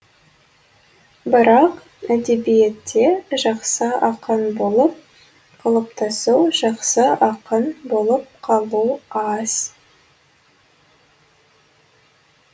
бірақ әдебиетте жақсы ақын болып қалыптасу жақсы ақын болып қалу аз